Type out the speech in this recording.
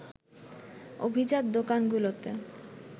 অভিজাত দোকানগুলোতে